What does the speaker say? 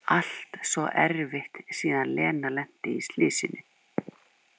Allt svo erfitt síðan Lena lenti í slysinu.